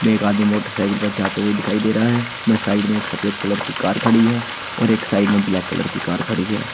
एक आदमी मोटरसाइकिल पर जाते हुए दिखाई दे रहा है मैं साइड में एक सफेद कलर की कार खड़ी है और एक साइड में ब्लैक कलर की कार खड़ी है।